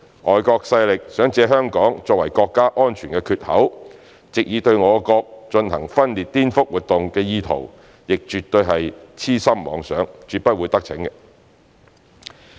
外國勢力想借香港作為國家安全缺口，藉以對我國進行分裂顛覆活動的意圖亦絕對是癡心妄想，絕不會得逞。